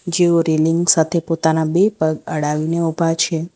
જેઓ રેલિંગ સાથે પોતાના બે પગ અડાવીને ઉભા છે.